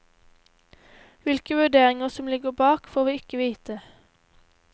Hvilke vurderinger som ligger bak, får vi ikke vite.